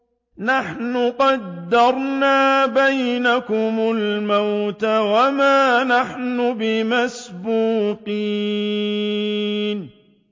نَحْنُ قَدَّرْنَا بَيْنَكُمُ الْمَوْتَ وَمَا نَحْنُ بِمَسْبُوقِينَ